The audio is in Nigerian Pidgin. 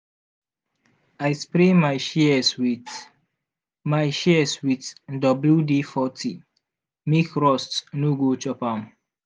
i spray my shears with my shears with wd40 make rust no go chop am.